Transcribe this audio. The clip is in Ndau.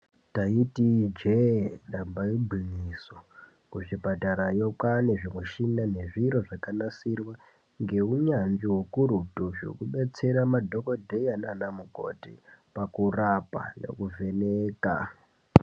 Taiti ijee damba igwinyiso kuzvipatarayo kwane michina nezviro zvakanasirwa ngeunyanzvi ukurutu zvekudetsera madhokodheya nanamukoti pakurapa nekuvheneka.